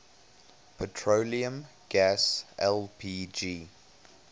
petroleum gas lpg